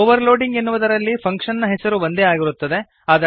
overloading ಎನ್ನುವುದರಲ್ಲಿ function ನ ಹೆಸರು ಒಂದೇ ಆಗಿರುತ್ತದೆ